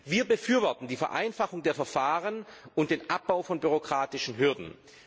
Wir befürworten die Vereinfachung der Verfahren und den Abbau von bürokratischen Hürden.